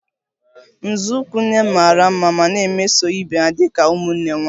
Nzọụkwụ m nne mara mma ma na-emeso ibe ha dị ka ụmụnne nwanyị